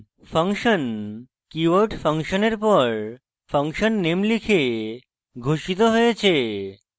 function keyword function এর পর function name লিখে ঘোষিত হয়েছে